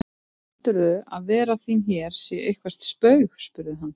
Heldurðu að vera þín hér sé eitthvert spaug spurði hann.